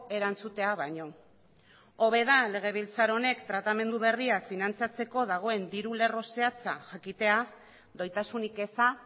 erantzutea baino hobe da legebiltzar honek tratamendu berriak finantzatzeko dagoen diru lerro zehatza jakitea doitasunik eza